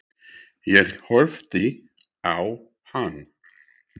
Ég horfði á hann.